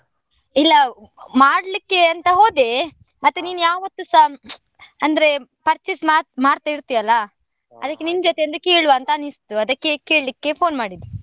ಇಲ್ಲ ಮಾಡ್ಲಿಕ್ಕೆ ಅಂತ ಹೋದೆ, ಮತ್ತೆ ಯಾವತ್ತೂಸಾ ಅಂದ್ರೆ purchase ಮಾ~ ಮಾಡ್ತಾ ಇರ್ತಿ ಅಲ್ಲ, ಅದಕ್ಕೆ ನಿನ್ ಜೊತೆ ಒಂದ್ ಕೇಳುವ ಅಂತ ಅನಿಸ್ತು, ಅದಕ್ಕೆ ಕೇಳಿಕ್ಕೆ phone ಮಾಡಿದ್ದು.